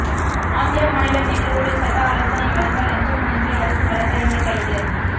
ஆந்திர மாநிலம் நெல்லூரில் சட்ட ஆலோசனை வழங்க லஞ்சம் வாங்கிய அரசு வழக்கறிஞர் கைது